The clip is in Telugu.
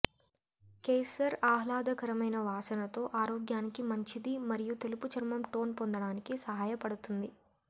కేసర్ ఆహ్లాదకరమైన వాసనతో ఆరోగ్యానికి మంచిది మరియు తెలుపు చర్మం టోన్ పొందడానికి సహాయపడుతుంది